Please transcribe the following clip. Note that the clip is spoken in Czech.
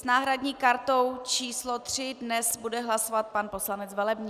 S náhradní kartou číslo 3 dnes bude hlasovat pan poslanec Velebný.